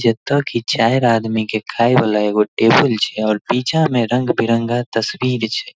जता कि चार आदमी के खाय वाला एगो टेबुल छै और पीछा में रंग-बिरंगा तस्वीर छै।